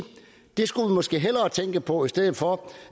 det skulle vi måske hellere tænke på i stedet for